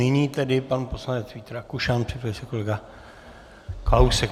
Nyní tedy pan poslanec Vít Rakušan, připraví se kolega Kalousek.